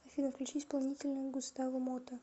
афина включи исполнителя густаво мота